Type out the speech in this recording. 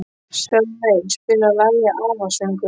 Sölvey, spilaðu lagið „Afasöngur“.